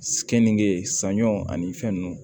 Kenige saɲɔ ani fɛn ninnu